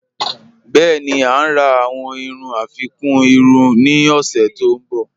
Bẹẹ̀ni, à ǹ rà awọn irú afikún irú ni ọ̀ṣẹ̀ tó nbọ̀.